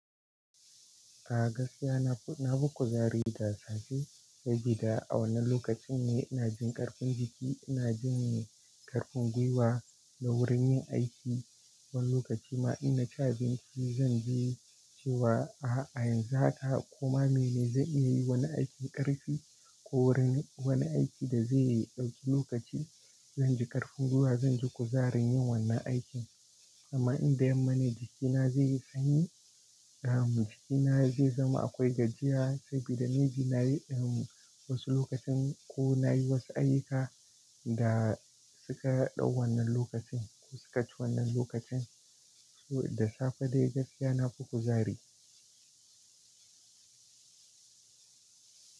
A gaskiya na, na nafi kuzari da safe da gida. A wannan lokacin ne ina jin ƙarfin jiki, ina jin ƙarfin gwiwa na wurin yin aiki. Wani lokaci ma ina cin abin ci zan ji cewa a yanzu haka koma mene zai iya yi wani aikin ƙarfi ko wurin wani aiki da zai ɗauki lokaci. Zan ji ƙarfin gwiwa, zan ji kuzarin yin wannan aikin. Amma in da yamma ne jikina zai yi sanyi, jikina zai zama akwai gajiya saboda me bi na yi wasu lokacin ko na yi wasu ayyuka da suka ɗau wannan lokacin ko suka ci wannan lokacin. Da safe dai gaskiya na fi kuzari.